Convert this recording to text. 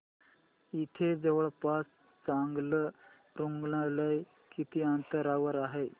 इथे जवळपास चांगलं रुग्णालय किती अंतरावर आहे